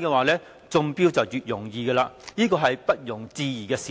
容易中標，這是不容置疑的事實。